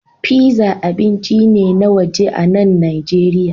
Pizza abinci ne na waje a nan Najeriya